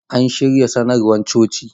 An shirya sanarwar coci.